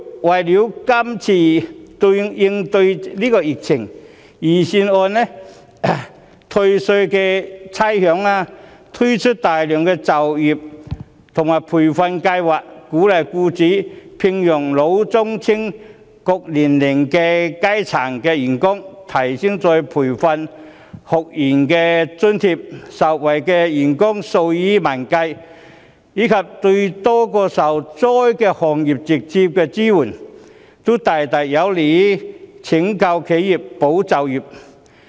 為了應對今次疫情，預算案有退稅和免差餉安排，並推出大量就業和培訓計劃，鼓勵僱主聘用老、中、青等各年齡層的員工，提升再培訓學員津貼，受惠員工數以萬計，對多個受災行業給予直接支援，這些都大大有利於拯救企業和保就業。